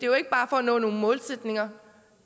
jo ikke bare for at nå nogle målsætninger